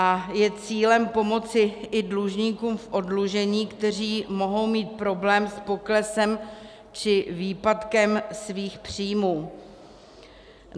A je cílem pomoci i dlužníkům v oddlužení, kteří mohou mít problém s poklesem či výpadkem svých příjmů.